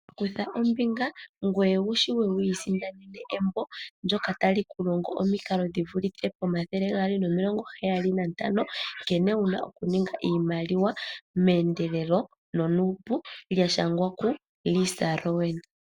Kutha ombinga ngoye wu shiwe wu isindanene embo ndyoka tali ku longo omikalo dhi vulithe pomathele gaali nomilongo heyali nantano nkene wu na okuninga iimaliwa meendelelo nonuupu lya shangwa ku Lisa Rowan.